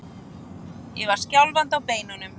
Ég var skjálfandi á beinunum.